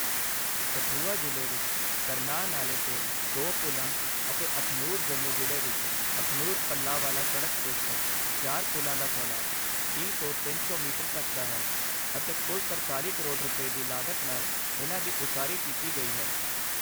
ਕਠੂਆ ਜ਼ਿਲ੍ਹੇ ਵਿੱਚ ਤਰਨਾਹ ਨਾਲ਼ੇ 'ਤੇ ਦੋ ਪੁਲ਼ਾਂ ਅਤੇ ਅਖਨੂਰ ਜੰਮੂ ਜ਼ਿਲ੍ਹੇ ਵਿੱਚ ਅਖਨੂਰ ਪੱਲਾਂਵਾਲਾ ਸੜਕ 'ਤੇ ਸਥਿਤ ਚਾਰ ਪੁਲ਼ਾਂ ਦਾ ਫੈਲਾਅ ਤੀਹ ਤੋਂ ਤਿੰਨ ਸੌ ਮੀਟਰ ਤੱਕ ਦਾ ਹੈ, ਅਤੇ ਕੁੱਲ ਤਰਤਾਲ਼ੀ ਕਰੋੜ ਰੁਪਏ, ਦੀ ਲਾਗਤ ਨਾਲ ਇਨ੍ਹਾਂ ਦੀ ਉਸਾਰੀ ਕੀਤੀ ਗਈ ਹੈ।